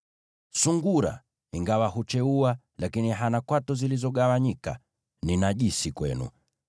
Sungura ingawa hucheua hana kwato zilizogawanyika; huyo ni najisi kwenu.